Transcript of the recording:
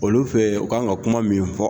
Olu fɛ yen u kan ka kuma min fɔ.